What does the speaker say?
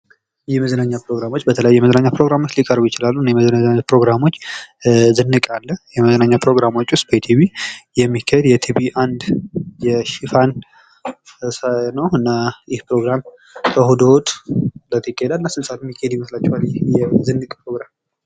የመዝናኛ ፕሮግራሞች በተለያዩ የመዝናኛ ፕሮግራሞች ሊቀርቡ ይችላሉ። እኒህ የመዝናኛ ፕሮግራሞች ዝንቅ አለ። የመዝናኛ ፕሮግራሞች ዉስጥ ኢቲቪ የሚካሄድ የኢቲቪ አንድ ሽፋን ነው ። እና ይህ ፕሮግራም እሁድ እሁድ እለት ይካሄዳል። እና ስንት ሰዓት የሚካሄድ ይመስላችኋል ይህ ዝንቅ ፕሮግራም?